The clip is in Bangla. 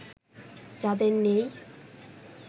যাদের নেই